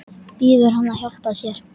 Biður hann að hjálpa sér.